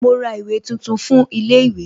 Mo ra ìwé tuntun fún ilé ìwé